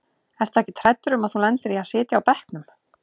Ertu ekkert hræddur um að þú lendir í að sitja á bekknum?